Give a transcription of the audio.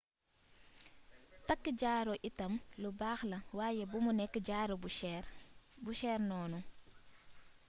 takk jaaro itam lu baax la waaye bumu nekk jaaro bu cher noonu